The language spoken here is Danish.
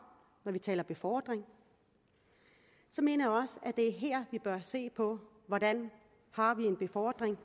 når vi taler befordring så mener jeg at det er her vi bør se på hvordan befordringen